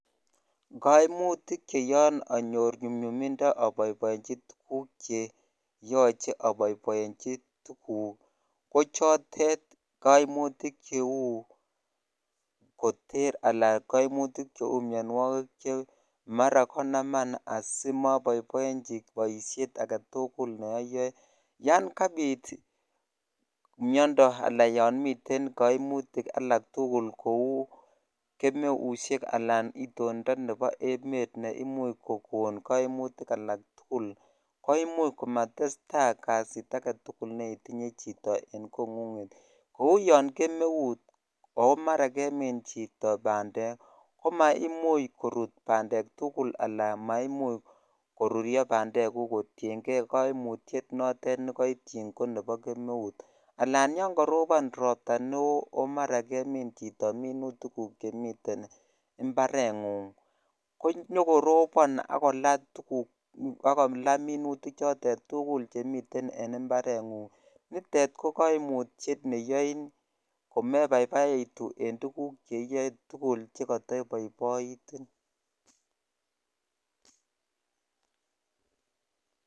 kimutik cheyoon anyor nyumnyumindo aboibochi tuguk cheyoche aboiboichi kochotet koimutik ko cheu koter alan koimutik cheu mionwokik che mara konaman asimoboiboichi boishet agetugul neoyoe yoon kabit miondo alan yoon miten koimutik alak tugul kou kemeushek alan itondo nepo emet neimuch kogon koimutik alak tugul koimuch komatesta kazit agetugul neitinye chito en kongunget kou yoon kemeut o mara kemin chito bandek ko maimuch korut bandek tugul alan maimuch korurio bandek kuk kotiengee koimutiet notet nekoityin konepo kemeut alan yoon korobon robta neoo omara kemin chito minutik kuk chemiten mbarengung konyokorobon ak kolaa minutik chotet tugul chemiten en mbarengungnitet ko kimutiet neyoin komebaibaitu en tugk cheiyoe kotugul chekoto iboiboitin